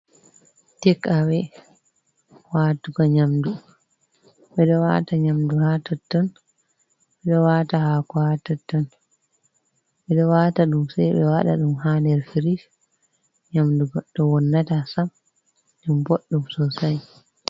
Tek awe watugo nyamdu, ɓeɗo wata nyamdu ha totton, ɓe wata hako ha totton, ɓeɗo wata ɗum sai ɓe wata ɗum ha nder firish nyamdu goɗɗo wonnata sam ɗum boɗɗum sosai.